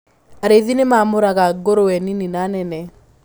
Arĩithi nimaamũraga ngũrũwe nini na nene.